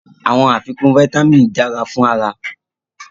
Awọn afikun fáítámínì jẹ dara fun ara